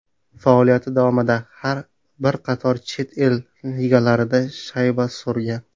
Faoliyati davomida bir qator chet el ligalarida shayba surgan.